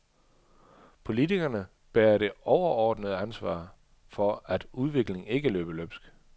Politikerne bærer det overordnede ansvar for, at udviklingen ikke løber løbsk.